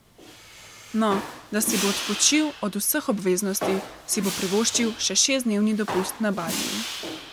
No, da si bo odpočil od vseh obveznosti, si bo privoščil še šestdnevni dopust na Baliju.